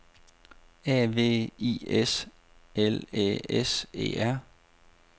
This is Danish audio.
A V I S L Æ S E R